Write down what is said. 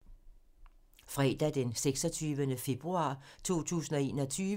Fredag d. 26. februar 2021